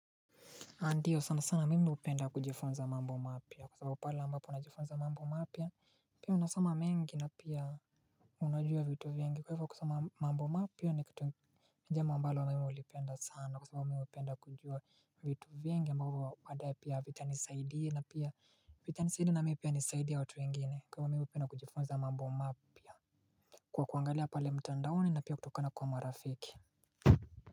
Ndiyo sana sana mimi hupenda kujifunza mambo mapya kwa sababu pale ambapo najifunza mambo mapya pia unasoma mengi na pia unajua vitu vingi kwa hivo kusoma mambo mapya ni kitu njema ambalo wa mimi hulipenda sana kwa sababu mimi hupenda kujua vitu vingi ambavo badae pia vitanisaidia na pia vitanisaidia na mimi pia nisaidiye watu wengine kwa hiyo mimi hupenda kujifunza mambo mapya. Kwa kuangalia pale mtandaoni na pia kutokana kwa marafiki.